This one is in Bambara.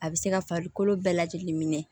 A bɛ se ka farikolo bɛɛ lajɛlen minɛ